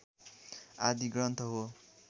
आदि ग्रन्थ हो।